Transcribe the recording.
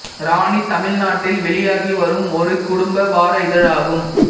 ராணி தமிழ்நாட்டில் வெளியாகிவரும் ஒரு குடும்ப வார இதழ் ஆகும்